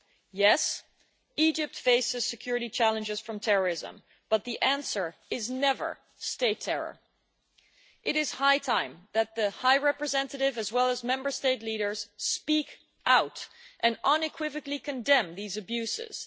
Yes, Egypt faces security challenges from terrorism, but the answer is never state terror. It is high time that the High Representative as well as Member State leaders speak out and unequivocally condemn these abuses.